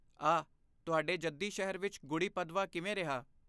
ਆਹ, ਤੁਹਾਡੇ ਜੱਦੀ ਸ਼ਹਿਰ ਵਿੱਚ ਗੁੜ੍ਹੀ ਪਦਵਾ ਕਿਵੇਂ ਰਿਹਾ?